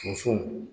Musow